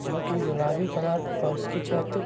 जो की गुलाबी कलर और उसकी छत --